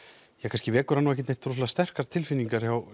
kannski vekur hann ekkert sérstaklega sterkar tilfinningar hjá